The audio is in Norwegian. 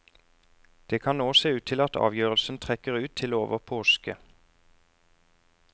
Det kan nå se ut til at avgjørelsen trekker ut til over påske.